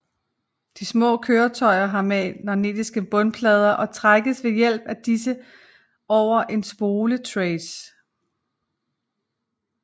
De små køretøjer har magnetiske bundplader og trækkes ved hjælp af disse over en spoletrace